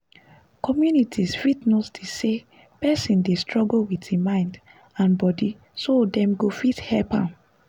communities fit notice say person dey struggle with him mind and body so dem go fit help dem